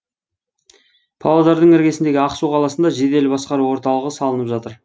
павлодардың іргесіндегі ақсу қаласында жедел басқару орталығы салынып жатыр